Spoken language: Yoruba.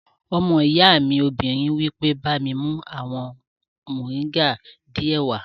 Ọmọ ìyá mi obìnrin wí pé, "bá mi mú àwọn mọ̀ríńgà díẹ̀ wá!"